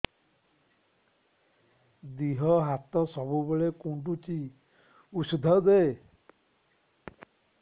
ଦିହ ହାତ ସବୁବେଳେ କୁଣ୍ଡୁଚି ଉଷ୍ଧ ଦେ